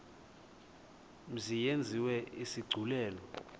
mzi yenziwe isigculelo